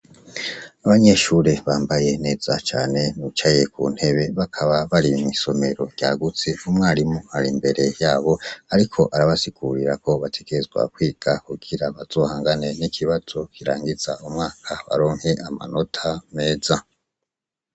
Abanyeshure bambaye neza cane bicaye Ku ntebe bakaba bari mw'isomero ryagutse umwarimu ari imbere yabo ariko arabasigurira ko bategerezwa kwiga kugira bazohangane n'ikibazo kirangiza umwaka baronke amanota meza .